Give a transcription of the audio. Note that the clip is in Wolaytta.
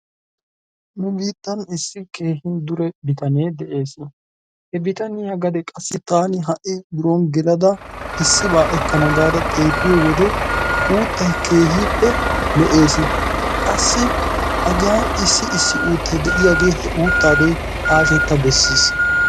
nu biittan issi keehi dure bitanee de'ees. he bitaaniya gade qassi taani ha'i biron gelada issiba ekkana gaada xeelliyo wode uuttay keehippe lo''ees. qassi hagaa issi issi uutta de'iyaagee, he uutta doy hashshetta beessiis,